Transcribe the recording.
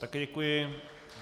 Také děkuji.